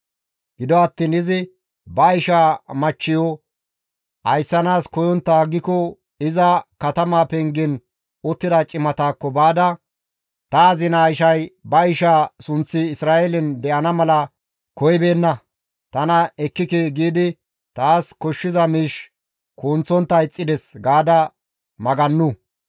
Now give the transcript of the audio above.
Gido attiin izi ba ishaa machcheyo ayssanaas koyontta aggiko iza katama pengen uttida cimataakko baada, «Ta azinaa ishay ba ishaa sunththi Isra7eelen de7ana mala koyibeenna; tana ekkike giidi taas koshshiza miish kunththontta ixxides» gaada magannu.